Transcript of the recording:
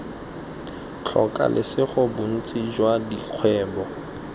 tlhoka lesego bontsi jwa dikgwebo